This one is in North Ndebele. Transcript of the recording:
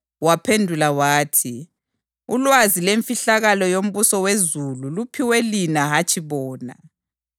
Waphendula wathi, “Ulwazi lwemfihlakalo yombuso wezulu luphiwe lina hatshi bona.